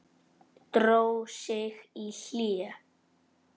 Dró sig í hlé.